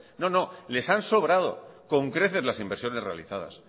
no les han sobrado con creces las inversiones realizadas